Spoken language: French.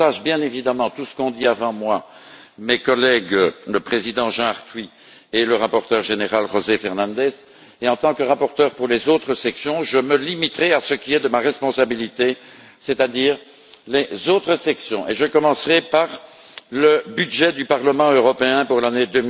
Je partage bien évidemment tout ce qu'ont dit avant moi mes collègues, le président Jean Arthuis et le rapporteur général José Fernandes, et en tant que rapporteur pour les autres sections, je me limiterai à ce qui est de ma responsabilité, c'est à dire les autres sections et je commencerai par le budget du Parlement européen pour l'année